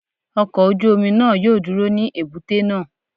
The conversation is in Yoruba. Ọkọ̀ ojú omi náà yóò dúró ní èbúté náà.